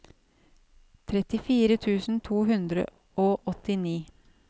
trettifire tusen to hundre og åttini